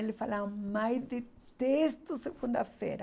E eles falavam, mãe, detesto segunda-feira.